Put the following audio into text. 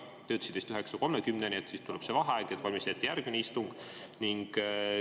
Te ütlesite, et vist 9.30 tuleb vaheaeg, et valmistada ette järgmist istungit.